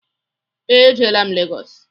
Ee, ejelaa m Legọs